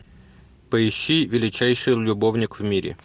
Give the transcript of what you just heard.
поищи величайший любовник в мире